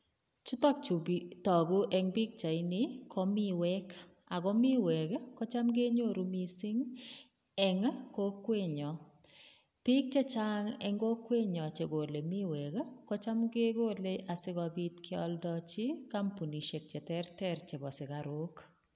Chutok chuu toku en pichaini ko miwek ak ko miwek kocham kenyoru mising eng' kokwenyon, biik chechang en kokwenyon chekole miwek kocham kekole asikobit kioldochi kampunishek cheterter chebo sukaruk.